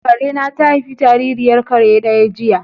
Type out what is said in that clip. Karena ta haifi jaririyar kare daya jiya?